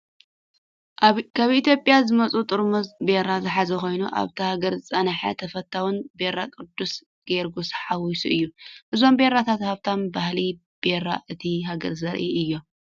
ካብ ኢትዮጵያ ዝመጹ ጥርሙዝ ቢራ ዝሓዘ ኮይኑ፡ ኣብታ ሃገር ዝጸንሐን ተፈታዊን ቢራ ቅዱስ ጊዮርጊስ ሓዊሱ እዩ። እዞም ቢራታት ሃብታም ባህሊ ቢራ እታ ሃገር ዘርእዩ እዮም።